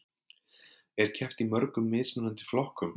Er keppt í mörgum mismunandi flokkum